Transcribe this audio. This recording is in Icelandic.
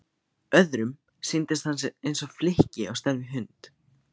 Öðrum sýndist hann eins og flykki á stærð við hund.